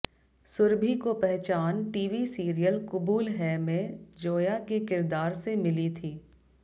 सुरभि को पहचान TV serial Qubool Hai में जोया के किरदार से मिली थी